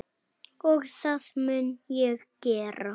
Og það mun ég gera.